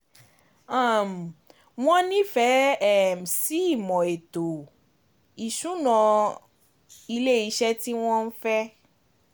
um Wọ́n nífẹ̀ẹ́ um sí ìmò ètò ìsúná um ilé iṣẹ́ tí wọ́n fẹ́.